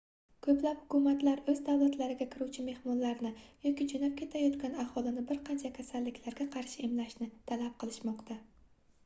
koʻplab hukumatlar oʻz davlatlariga kiruvchi mehmonlarni yoki joʻnab ketayotgan aholini bir qancha kasalliklarga qarshi emlashni talab qilishmoqda